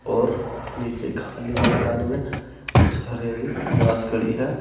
और नीचे खाली मैदान में कुछ हरी हरी घास खड़ी है।